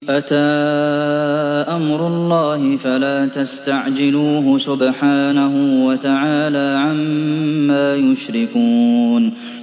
أَتَىٰ أَمْرُ اللَّهِ فَلَا تَسْتَعْجِلُوهُ ۚ سُبْحَانَهُ وَتَعَالَىٰ عَمَّا يُشْرِكُونَ